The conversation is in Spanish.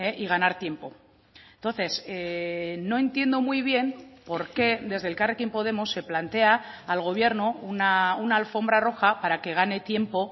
y ganar tiempo entonces no entiendo muy bien por qué desde elkarrekin podemos se plantea al gobierno una alfombra roja para que gane tiempo